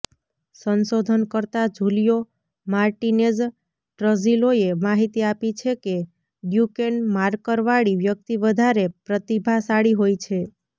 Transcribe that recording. સંશોધનકર્તા Julio Martinez ટ્રઝિલોએ માહિતી આપી છે કે ડ્યુકેન માર્કરવાળી વ્યક્તિ વધારે પ્રતિભાશાળી હોય છે